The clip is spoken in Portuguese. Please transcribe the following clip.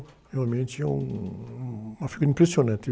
Realmente é um, uma figura impressionante.